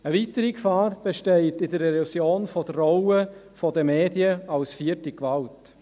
Eine weitere Gefahr besteht in der Erosion der Rolle der Medien als vierte Gewalt.